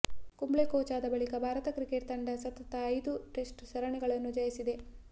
Kumble coach ಆದ ಬಳಿಕ Bharat cricket ತಂಡ ಸತತ ಐದು ಟೆಸ್ಟ್ ಸರಣಿಗಳನ್ನು ಜಯಿಸಿದೆ